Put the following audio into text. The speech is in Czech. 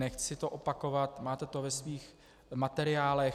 Nechci to opakovat, máte to ve svých materiálech.